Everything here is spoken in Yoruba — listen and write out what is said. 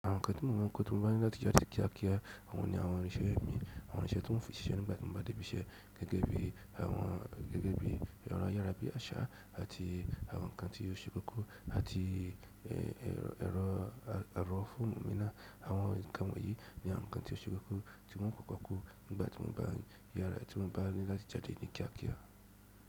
Àwọn ǹkan tí mo má ń kọ ti mo bá ní láti jáde kíákíá àwọn ni àwọn irinṣẹ́ mi, àwọn irnse tí n o fi ṣiṣẹ́ nígbà tí mo bá dé ibi iṣẹ́, gẹ́gẹ́ bí àwọn ayára bí àṣà àti àwọn ǹkan tí o ṣe kókó àti àwọn ẹ̀rọ phone mi náà. Àwọn ǹkan wọ̀nyí ni àwọn ǹkan tí ó ṣe kókó tí mò ń kọ́ kókó nígbà tí mò ń bá yára, tí mò ń bá ní láti já dé ní kíá kíá.